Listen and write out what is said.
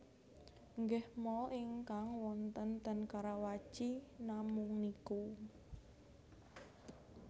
Nggih mall ingkang wonten ten Karawaci namung niku